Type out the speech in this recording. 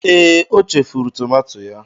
Ee, o chefuru tomato ya.